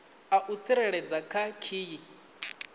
a u tsireledza kha khiyi